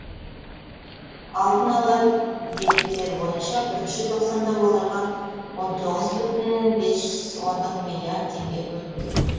алдын ала деректер бойынша бірінші тоқсанда оларға он тоғыз бүтін бес ондық миллиард теңге бөлінді